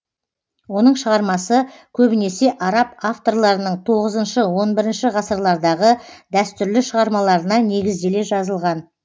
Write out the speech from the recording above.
оның шығармасы көбінесе араб авторларының тоғызыншы он бірінші ғасырлардағы дәстүрлі шығармаларына негізделе жазылған